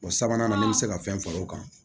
O sabanan ni bɛ se ka fɛn fara o kan